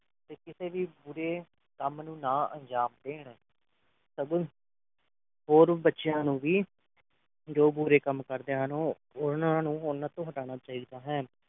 ਤੇ ਕਿਸੇ ਵੀ ਬੁਰੇ ਕੰਮ ਨੂੰ ਨਾ ਅੰਜਾਮ ਦੇਣ ਸਗੋਂ ਹੋਰ ਬੱਚਿਆਂ ਨੂੰ ਵੀ ਜੋ ਬੁਰੇ ਕੰਮ ਕਰਦੇ ਹਨ ਉਹ ਉਨ੍ਹਾਂ ਨੂੰ ਓਹਨਾ ਤੋ ਹਟਾਉਣਾ ਚਾਹੀਦਾ ਹੈ